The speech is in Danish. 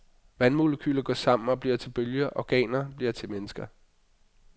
Vandmolekyler går sammen og bliver til bølger, organer bliver til et menneske.